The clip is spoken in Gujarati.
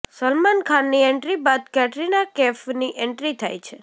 સલમાન ખાનની એન્ટ્રી બાદ કેટરીના કેફની એન્ટ્રી થાય છે